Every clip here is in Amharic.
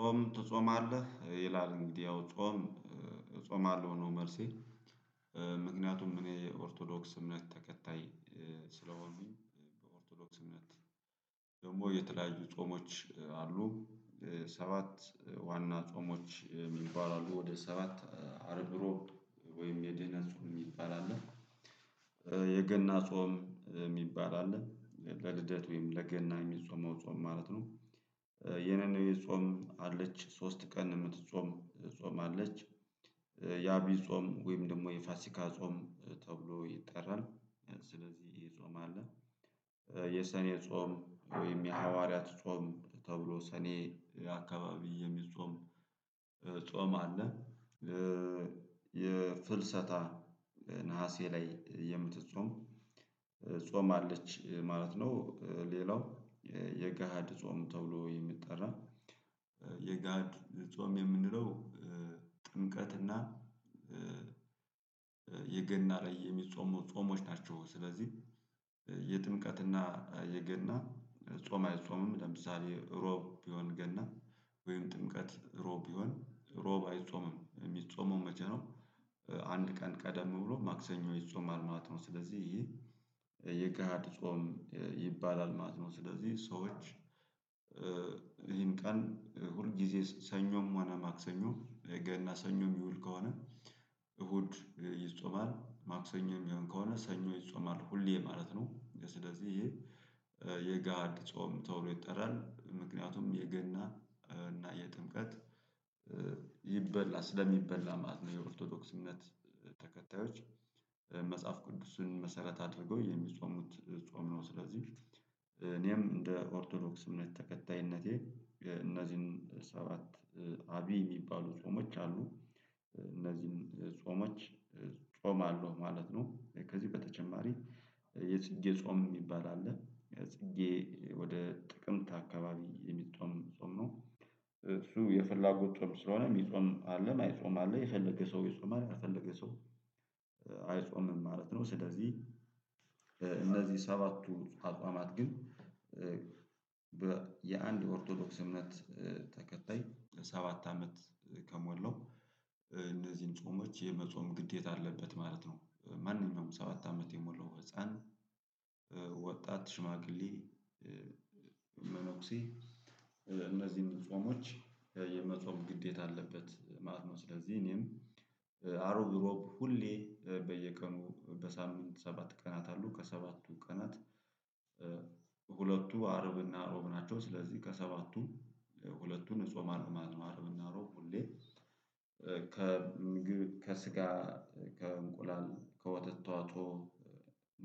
ጾም ትጾማለህ? ይላል እንግዲህ ያው ጾም እጾማለሁ ነው መልሴ እ ምክንያቱም እኔ ኦርቶዶክስ እምነት ተከታይ እ ስለሆንኩኝ በኦርቶዶክስ እምነት ደግሞ የተለያዩ ጾሞች አሉ ሰባት ዋና ጾሞች ሚባል አሉ። ወደ ሰባት እ አርብ ሮብ ወይም የድህነት ጾም የሚባል አለ። እ የገና ጾም የሚባል አለ ለልደት ወይም ለገና የሚጾመው ጾም ማለት ነው። እ የነነዌ ጾም አለች ሶስት ቀን የምትጾም ጾም አለች። እ የአቢይ ጾም ወይም ደግሞ የፋሲካ ጾም ተብሎ ይጠራል። እ ስለዚህ ጾም አለ። የሰኔ ጾም ወይም የሐዋርያት ጾም ተብሎ ሰኔ አካባቢ የሚጾም ጾም አለ። እ የፍልሰታ ነሀሴ ላይ የምትጾም እ ጾም አለች ማለት ነው። እ ሌላው የገሃድ ጾም ተብሎ የሚጠራ እ የጋድ ጾም የምንለው እ ጥምቀት እና እ የገና ላይ የሚጾሙ ጾሞች ናቸው። ስለዚህ የጥምቀትና የገና ጾም አይጾምም ለምሳሌ ሮብ ቢሆን ገና ወይም ጥምቀት ሮብ ቢሆን ሮብ አይጾምም የሚጾመው መቼ ነው? አንድ ቀን ቀደም ብሎ ማክሰኞ ይጾማል ማለት ነው። ስለዚህ ይሄ እ የገሃድ ጾም እ ይባላል ማለት ነው። ስለዚህ ሰዎች ይሄን ቀን እ ሁል ጊዜ ሰኞም ሆነ ማክሰኞ እ ገና ሰኞም ሚውል ከሆነ እሁድ ይጾማል ማክሰኞ የሚሆን ከሆነ ሰኞ ይጾማል ሁሌ ማለት ነው። ስለዚህ ይሄ እ የገሃድ ጾም ተብሎ ይጠራል። ምክንያቱም የገና እና የጥምቀት እ ይበላ ስለሚበላ ማለት ነው። የኦርቶዶክስ እምነት ተከታዮች እ መጽሐፍ ቅዱስን መሰረት አድርገው የሚጾሙት ጾም ነው። ስለዚህ እኔም እንደ ኦርቶዶክስ እምነት ተከታይነቴ እ እነዚህን ሰባት አቢይ የሚባሉ ጾሞች አሉ እ እነዚህን ጾሞች እ ጾማለሁ ማለት ነው። ከዚህ በተጨማሪ የጽጌ ጾም የሚባል አለ የጽጌ ወድ ጥቅምት አካባቢ የሚጾም ጾም ነው። እሱ የፍላጎት ጾም ስለሆነ የሚጾም አለ የማይጾም አለ የፈለገ ሰው ይጾማል የፈለገ ሰው እ አይጾምም ማለት ነው። ስለዚህ እ እነዚህ ሰባቱ አጿማት ግን እ የአንድ ኦርቶዶክስ እምነት እ ተከታይ ለሰባት አመት ከሞላው እ እነዚህን ጾሞች የመጾም ግዴታ አለበት ማለት ነው። እ ማንኛውም ሰባት አመት የሞላው ህፃን እ ወጣት ሽማግሌ እ መነኩሴ እ እነዚህን ጾሞች የመጾም ግዴታ አለበት ማለት ነው። ስለዚህ እኔም እ እሮብ ሮብ ሁሌ በየቀኑ በሳምንት ሰባት ቀናት አሉ ከሰባቱ ቀናት እ ሁለቱ አርብና አሮብ ናቸው። ስለዚህ ከሰባቱ እ ሁለቱን እጾማለሁ ማለት ነው። አርብና ሮብ ሁሌ እ ከምግብ ከስጋ እ ከእንቁላል ከወተት ተዋጽኦ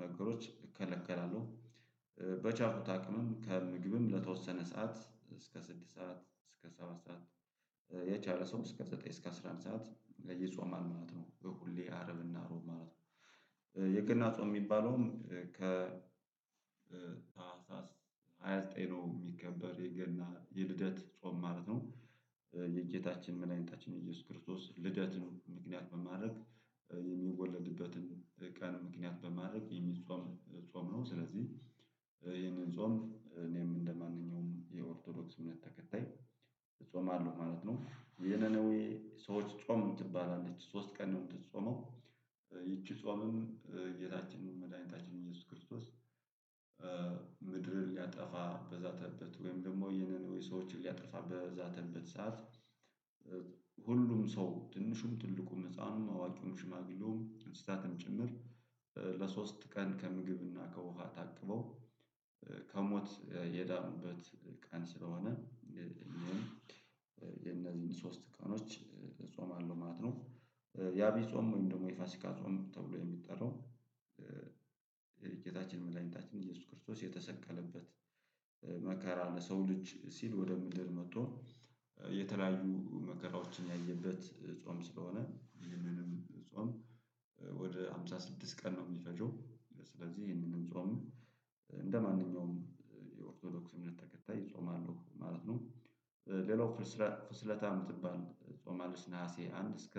ነገሮች እከለከላለሁ እ በቻልኩት አቅምም ከምግብም ለተወሰነ ሰዓት እስከ ስድስት ሰዓት እስከ ሰባት ሰዓት እ የቻለ ሰው እስከ ዘጠኝ እስከ አስራ አንድ ሰዓት ይጾማል ማለት ነው። በሁሌ አርብና ሮብ ማለት ነው። የገና ጾም የሚባለውም ከ እ ሃያ ዘጠኝ ነው የሚከበር የገና የልደት ጾም ማለት ነው። እ የጌታችን መድኃኒታችን ኢየሱስ ክርስቶስ ልደት ነው። ምክንያት በማድረግ የሚወለድበትን ቀን ምክንያት በማድረግ የሚጾም ጾም ነው። ስለዚህ እ ይህንን ጾም እኔም እንደማንኛውም የኦርቶዶክስ እምነት ተከታይ እጾማለሁ ማለት ነው። የነነዌ ሰዎች ጾም የምትባል አለች ሶስት ቀን ነው የምትጾመው። ይቺ ጾምም እ ጌታችን መድኃኒታችን ኢየሱስ ክርስቶስ እ ምድርን ሊያጠፋ በዛተበት ወይም ደግሞ ይሄንን ወይ ሰዎችን ሊያጠፋ በዛተበት ሰዓት እ ሁሉም ሰው ትንሹም ትልቁም ህፃኑም አዋቂውም ሽማግሌውም እንስሳትም ጭምር ለሶስት ቀን ከምግብና ከውሃ ታቅበው እ ከሞት የዳኑበት ቀን ስለሆነ እ የነዚህን ሶስት ቀኖች እ እጾማለሁ ማለት ነው። እ ያቢይ ጾም ወይም ደግሞ የፋሲካ ጾም ተብሎ የሚጠራው እ ጌታችን መድኃኒታችን ኢየሱስ ክርስቶስ የተሰቀለበት እ መከራ ለሰው ልጅ ሲል ወደ ምድር መጥቶ እ የተለያዩ መከራዎችን ያየበት እ ጾም ስለሆነ ይህንንም ጾም ወደ ሃምሳ ስድስት ቀን ነው የሚፈጀው። ስለዚህ ይህንንም ጾም እንደማንኛውም የኦርቶዶክስ እምነት ተከታይ እጾማለሁ ማለት ነው። ሌላው ፍልሰታ ምትባል ጾም አለች። ነሀሴ አንድ እስከ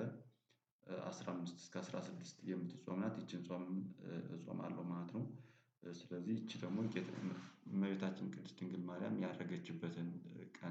እ አስራ አምስት እስከ አስራ ስድስት የምትጾም ናት። ይቺን ጾምም እ እጾማለው ማለት ነው። ስለዚህ ይቺ ደግሞ እመቤታችን ቅድስት ድንግል ማርያም ያረገችበትን እ ቀን